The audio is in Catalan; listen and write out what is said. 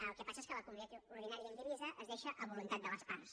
el que passa és que la comunitat ordinària indivisa es deixa a voluntat de les parts